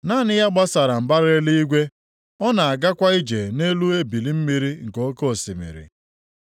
Naanị ya gbasara mbara eluigwe, ọ na-agakwa ije nʼelu ebili mmiri nke oke osimiri.